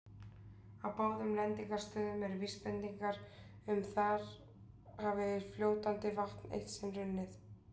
Á báðum lendingarstöðunum eru vísbendingar um að þar hafi fljótandi vatn eitt sinn runnið.